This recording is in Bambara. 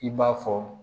I b'a fɔ